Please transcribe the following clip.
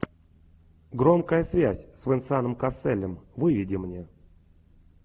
громкая связь с венсаном касселем выведи мне